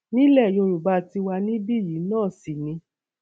nílẹ yorùbá tiwa níbí yìí náà sì ni